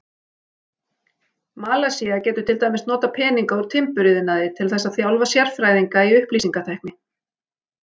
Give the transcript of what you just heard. Malasía getur til dæmis notað peninga úr timburiðnaði til þess að þjálfa sérfræðinga í upplýsingatækni.